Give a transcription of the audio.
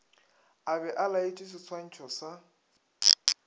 a be a laetšeseswantšho sa